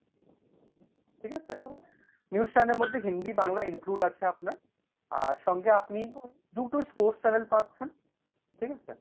ঠিক আছে? news channel এর মধ্যে হিন্দি বাংলা include আছে আপনার আর সঙ্গে আপনি দুটো sports channel পাচ্ছেন, ঠিক আছে?